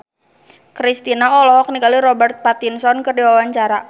Kristina olohok ningali Robert Pattinson keur diwawancara